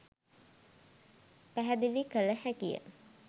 පැහැදිලි කළ හැකිය.